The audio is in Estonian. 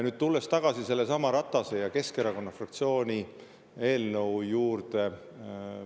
Nüüd tulen tagasi sellesama Ratase ja Keskerakonna fraktsiooni eelnõu juurde.